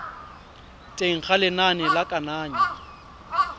teng ga lenane la kananyo